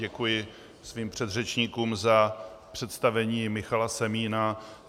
Děkuji svým předřečníkům za představení Michala Semína.